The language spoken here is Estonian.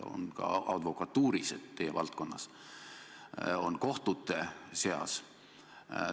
On ka advokatuuris – teie valdkonnas –, on kohtute seas.